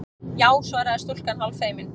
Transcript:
Já- svaraði stúlkan hálffeimin.